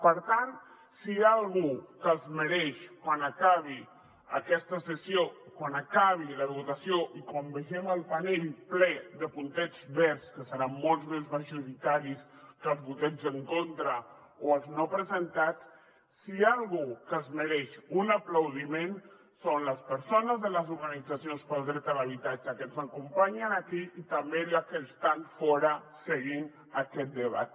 per tant quan acabi aquesta sessió quan acabi la votació i quan vegem el panell ple de puntets verds que seran molt més majoritaris que els vots en contra o els no presentats si hi ha algú que es mereix un aplaudiment són les persones de les organitzacions pel dret a l’habitatge que ens acompanyen aquí i també les que estan fora seguint aquest debat